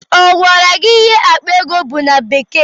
Ọ gwara gị ihe akpa ego bụ na bekee?